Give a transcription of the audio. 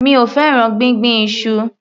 Mi ò fẹ́ràn gbíngbin iṣu.